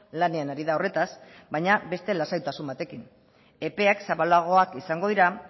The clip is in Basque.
lanean ari da horretaz baina beste lasaitasun batekin epeak zabalagoak izango dira